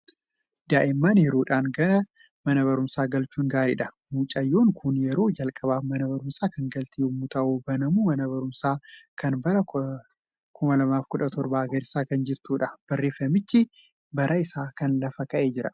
Daa'imman yeroodhaan gara mana barumsaa galchuun gaariidha! Mucayyoon kun yeroo jalqabaaf mana barumsaa kan galte yommuu ta'u, banamuu mana barumsaa kan bara 2017 agarsiisaa kan jirtudha. Barreeffamichi bara isaa lafa kaa'ee jira.